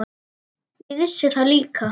Ég vissi það líka.